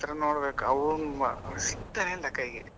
ಅವ್ನತ್ರ ನೋಡ್ಬೇಕು ಅವನು ಸಿಗ್ತಾನೆ ಇಲ್ಲ ಕೈಗೆ.